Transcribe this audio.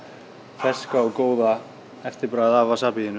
ferska og góða eftirbragð af